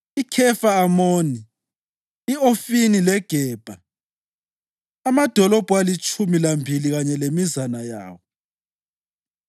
iKhefa-Amoni, i-Ofini leGebha, amadolobho alitshumi lambili kanye lemizana yawo.